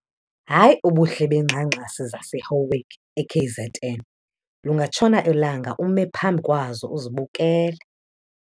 Hayi ubuhle beengxangxasi zaseHowick eKZN, lingatshona ilanga ume phambi kwazo uzibukele!